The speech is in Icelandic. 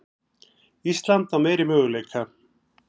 Ísland á meiri möguleika